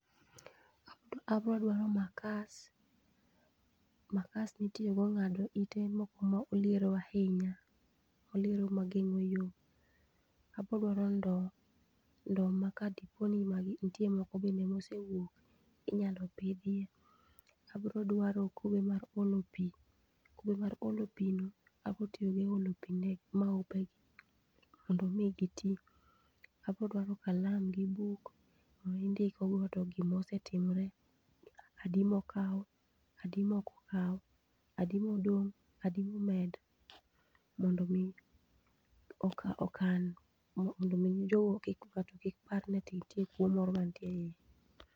Abro duaro makas, makas mitiyogo ng'ado ite moko ma oliero ahinya, oliero ma geng'o yo. Abro duaro ndo, ndo ma kadipo ni nitie moko bende mosewuok, inyalo pidhiye. Abroduaro kube mar olo pi, kube mar olo pi no abotiyogo e olo pi ne maupe gi mondo mi giti. Aboduaro kalam gi buk, ma indikogo gikmosetimore, adi mokaw, adi mokokaw, adi modong', adi momed. Mondo mi okan mondo mi jogo ng'ato kik par ni nitie kuo moro mantie e iye.